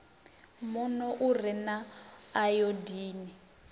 muno u re na ayodini